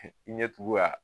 i ɲɛ tugu k'a